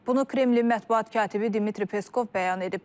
Bunu Kremlin mətbuat katibi Dmitri Peskov bəyan edib.